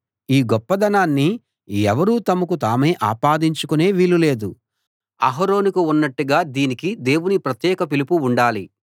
ఈ గొప్పదనాన్ని ఎవరూ తమకు తామే ఆపాదించుకునే వీలు లేదు అహరోనుకు ఉన్నట్టుగా దీనికి దేవుని ప్రత్యేక పిలుపు ఉండాలి